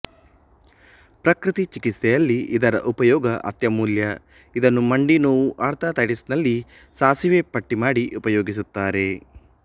ಪ್ರಕೃತಿ ಚಿಕಿತ್ಸೆಯಲ್ಲಿ ಇದರ ಉಪಯೋಗ ಅತ್ಯಮೂಲ್ಯ ಇದನ್ನು ಮಂಡಿ ನೋವು ಆರ್ತೈತಟಿಸ್ನಲ್ಲಿ ಸಾಸಿವೆ ಪಟ್ಟಿ ಮಾಡಿ ಉಪಯೋಗಿಸುತ್ತಾರೆ